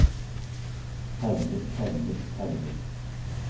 permer permer permer